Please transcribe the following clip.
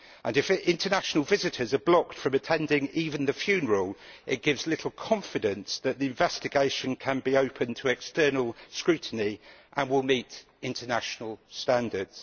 If international visitors are blocked from attending even the funeral, it gives little confidence that the investigation can be open to external scrutiny and will meet international standards.